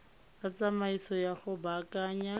la tsamaiso ya go baakanya